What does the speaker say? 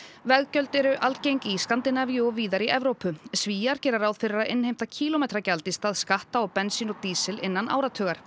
veggjöld eru algeng í Skandinavíu og víðar í Evrópu Svíar gera ráð fyrir að innheimta kílómetragjald í stað skatta á bensín og dísil innan áratugar